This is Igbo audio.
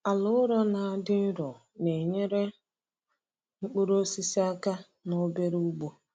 Ala ụrọ na-adị nro na-enyere mkpụrụ osisi aka na obere ugbo.